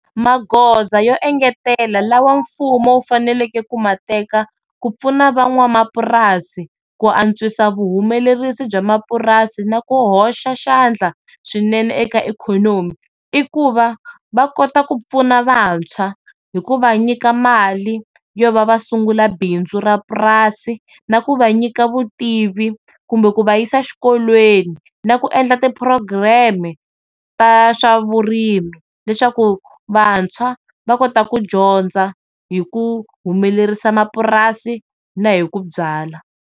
Maghoza yo engetela lawa mfumo wu faneleke kuma teka ku pfuna van'wamapurasini ku antswisa vuhumenerisi bya mapurasini na ku hoxa xandla swinene eka ikhonomi i ku va va kota ku pfuna vantshwa hikuva nyika mali yova va sungula bindzu ra purasi na ku va nyika vutivi kumbe ku va yisa xikolweni na ku endla ti program-me ta swavurimi leswaku vantshwa va kota ku dyondza hi ku humelerisa mapurasini na hi ku byala.